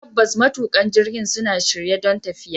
Tabbas, matuƙan jirgin suna shirye don tafiya.